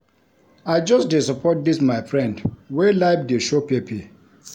I just dey support dis my friend wey life dey show pepper.